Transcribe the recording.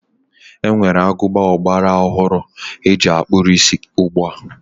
E nwere agụba ọgbara ọhụrụ e ji akpụ isí ugbua.